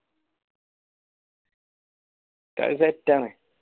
കളി set ആണ്